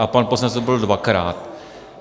A pan poslanec tu byl dvakrát.